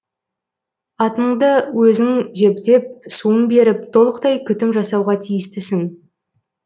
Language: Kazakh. атыңды өзің жепдеп суын беріп толықтай күтім жасауға тиістісің